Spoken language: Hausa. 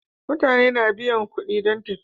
Mutane na biyan kuɗi don tafiya.